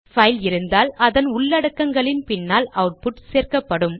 file இருந்தால் அதன் உள்ளடக்கங்களின் பின்னால் அவுட்புட் சேர்க்கப்படும்